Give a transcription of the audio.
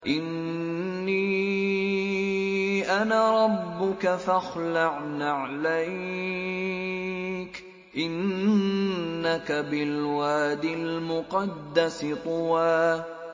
إِنِّي أَنَا رَبُّكَ فَاخْلَعْ نَعْلَيْكَ ۖ إِنَّكَ بِالْوَادِ الْمُقَدَّسِ طُوًى